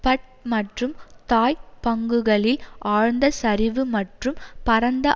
but மற்றும் தாய் பங்குகளில் ஆழ்ந்த சரிவு மற்றும் பரந்த